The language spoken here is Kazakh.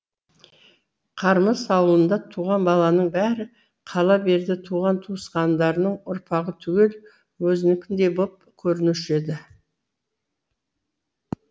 қармыс ауылында туған баланың бәрі қала берді туған туысқандарының ұрпағы түгел өзінікіндей боп көрінуші еді